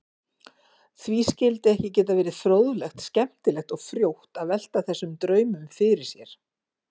Því skyldi ekki geta verið fróðlegt, skemmtilegt og frjótt að velta þessum draumum fyrir sér?